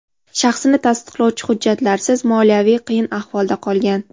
shaxsini tasdiqlovchi hujjatlarsiz moliyaviy qiyin ahvolda qolgan.